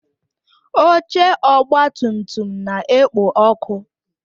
Oche ọgba tum tum na-ekpo ọkụ